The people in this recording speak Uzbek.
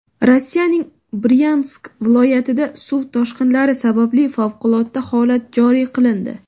Rossiyaning Bryansk viloyatida suv toshqinlari sababli favqulodda holat joriy qilindi.